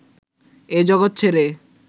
এই জগৎ ছেড়ে